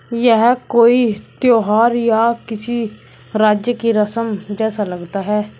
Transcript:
यह कोई त्यौहार या किसी राज्य की रस्म जैसा लगता है।